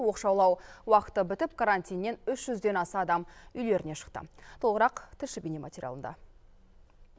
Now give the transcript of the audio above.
оқшаулау уақыты бітіп карантиннен үш жүзден аса адам үйлеріне шықты толығырақ тілші бейнематериалында